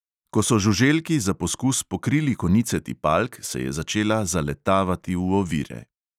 Ko so žuželki za poskus pokrili konice tipalk, se je začela zaletavati v ovire.